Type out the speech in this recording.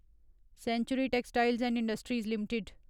century textiles and industries limited